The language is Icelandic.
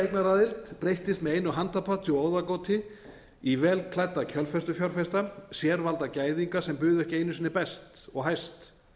eignaraðild breyttist með einu handapati og óðagoti í vel klædda kjölfestufjárfesta sérvalda gæðinga sem buðu ekki einu sinni best og hæst